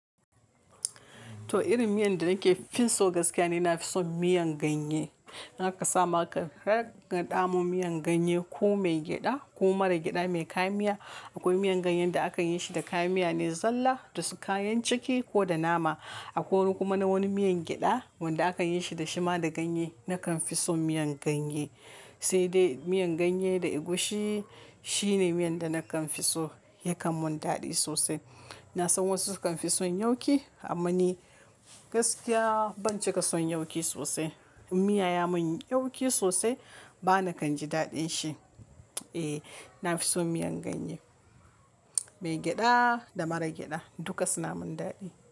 To irin miyan da nake fin so gaskiya ne, na fi son miyan ganye. Haka sama ka, har ka ɗamu miyan ganye ko mai gyada ko mara gyada mai kayan miya. Akwai miyan ganyen da akayi shi da kayan miya ne zalla da kayan ciki ko da nama. Akwai wani kuma na wani miyan gyada wanda akayi shi da shima da ganye. Nakan fi son miyan ganye, sai dai miyan ganye da egusi shine miyan da nakan fi so, yakan mun dadi sosai. Na san wasu sukan fi son yauki amma ni gaskiya ban cika son yauki sosai. In miya ya mun yauki sosai bana kan ji daɗin shi. Eh, na fi son miyan ganye, mai gyada da mara gyada duka suna mun dadi.